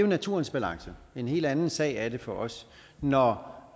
naturens balance en helt anden sag er det for os når